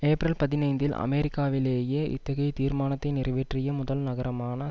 April பதினைந்தில் அமெரிக்காவிலேயே இத்தகைய தீர்மானத்தை நிறைவேற்றிய முதல் நகரமான